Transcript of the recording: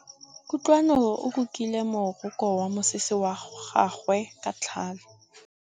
Kutlwanô o rokile morokô wa mosese wa gagwe ka tlhale.